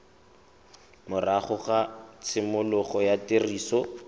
morago ga tshimologo ya tiriso